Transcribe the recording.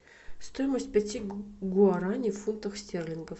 стоимость пяти гуарани в фунтах стерлингов